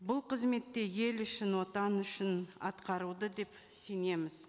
бұл қызметте ел үшін отан үшін деп сенеміз